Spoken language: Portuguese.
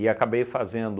acabei fazendo